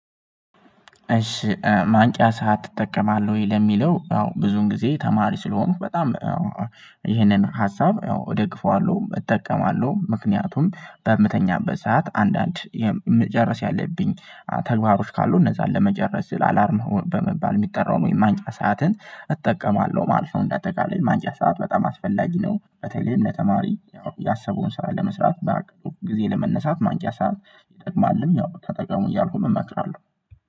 እሺ ማንቂያ ሰዓት ትጠቀማለህ ወይ? ለሚለው አዎ ብዙን ጊዜ ተማሪ ስለሆንኩ በጣም ሀሳብ እደግፈዋለው እጠቀማለሁ ምክንያቱም በምተኛበት ሰዓት አንዳንድ መጨረስ ያለብኝ ተግባሮች ካሉ እነዛን ለመጨረስ አላርም በመባል የሚጠራውን ወይም ማንቂያ ሰዓትን እጠቀማለሁ ማለት ነው። እንደ አጠቃላይ ማንቂያ ሰዓት በጣም አስፈላጊ ነው። በተለይም ለተማሪ ያው ያሰበውን ስራ ለመስራት ባቀደው ጊዜ ለመነሳት ማንቂያ ሰዓት ይጠቅማልም ያው ተጠቅሙ እያልኩም እመክራለሁ